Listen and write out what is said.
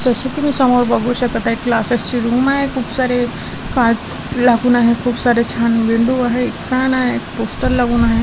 जसं मी समोर बघू शकत आहे क्लाससेस चे रूम आहे खूप सारे कांच लागून आहे खूप सारे छान विंडो आहे एक फॅन आहे एक पोस्टर लागून आहे.